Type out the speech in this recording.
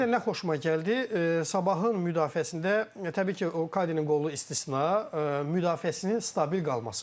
Bir də bir də nə xoşuma gəldi, Sabahın müdafiəsində təbii ki, o Kadinin qolu istisna, müdafiəsinin stabil qalmasıdır.